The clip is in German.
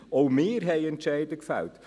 Auch wir haben Entscheide gefällt.